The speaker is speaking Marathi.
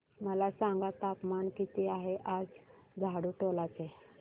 मला सांगा तापमान किती आहे आज झाडुटोला चे